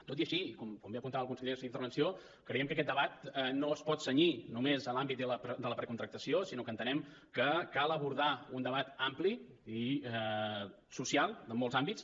tot i així i com bé apuntava el conseller en la seva intervenció creiem que aquest debat no es pot cenyir només a l’àmbit de la precontractació sinó que entenem que cal abordar un debat ampli i social en molts àmbits